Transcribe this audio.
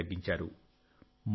కాలుష్యాన్ని తగ్గించారు